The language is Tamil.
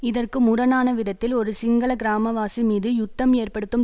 இதற்கு முரணான விதத்தில் ஒரு சிங்கள கிராமவாசி மீது யுத்தம் ஏற்படுத்தும்